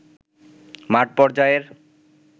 মাঠ পর্যায়ের